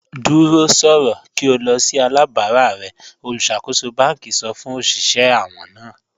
Dúró sọ̀rọ̀ kí o lọ̀ sí alábàrà rẹ̀ olúṣàkóṣọ̀ bánkì sọ̀ fún oṣiṣẹ̀ àwọn náà.